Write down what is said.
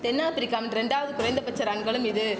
தென் ஆப்பிரிக்காமின் இரண்டாவது குறைந்தபட்ச ரன்களும் இது